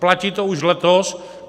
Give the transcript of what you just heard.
Platí to už letos.